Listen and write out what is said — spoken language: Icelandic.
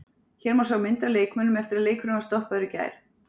Hér má sjá mynd af leikmönnum eftir að leikurinn var stoppaður í gær.